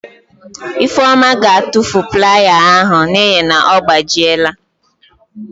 Ifeoma ga-atufu playa ya ahụ n'ihi na ọ gbajiela.